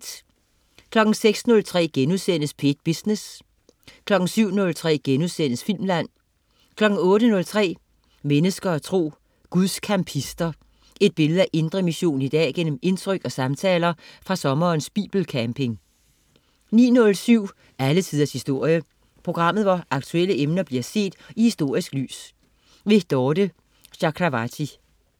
06.03 P1 Business* 07.03 Filmland* 08.03 Mennesker og tro. Guds campister. Et billede af Indre Mission i dag gennem indtryk og samtaler fra sommerens bibelcamping 09.07 Alle Tiders historie. Programmet, hvor aktuelle emner bliver set i historisk lys. Dorthe Chakravarty